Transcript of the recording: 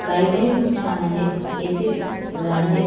Light ही खूप छान आहेत ए.सी. आहे.